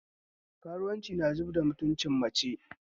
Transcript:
Karuwanci na zubda mutunci mace